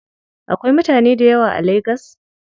Akwai mutane dayawa a lagas?